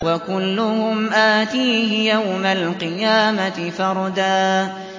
وَكُلُّهُمْ آتِيهِ يَوْمَ الْقِيَامَةِ فَرْدًا